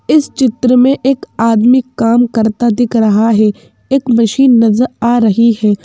इस चित्र में एक आदमी काम करता दिख रहा है एक मशीन नजर आ रही है।